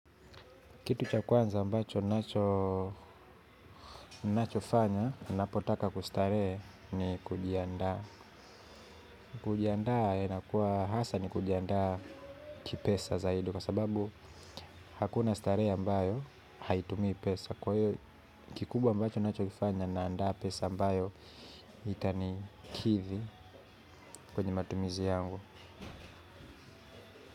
Kitu cha kwanza ambacho ninachofanya ninapotaka kustarehe ni kujiandaa. Kujiandaa inakuwa hasa ni kujiandaa kipesa zaidi. Kwa sababu hakuna starehe ambayo haitumii pesa. Kikubwa ambacho ninachokifanya naandaa pesa ambayo itanikidhi kwenye matumizi yangu.